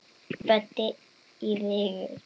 Böddi í Vigur.